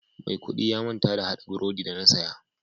Mai kudi ya manta da hada brodi da na saya.